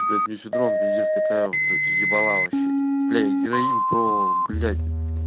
блядь мне федрон пиздец такая блять ебала вообще блять героин про блять